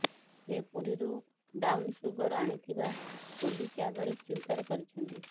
ସେ ପୁରୀରୁ ବ୍ରାଉନସୁଗର ଆଣିଥିବା ପୋଲିସ ଆଗରେ ସ୍ୱୀକାର କରିଛନ୍ତି